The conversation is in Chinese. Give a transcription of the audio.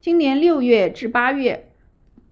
今年6月至8月